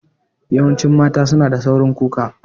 Yawancin mata su na da saurin kuka